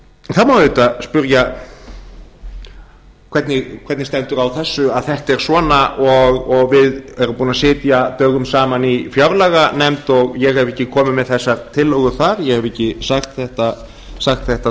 það má auðvitað spyrja hvernig stendur á þessu að þetta er svona og við erum búin að sitja dögum saman í fjárlaganefnd og ég hef ekki komið með þessar tillögur þar ég hef ekki sagt þetta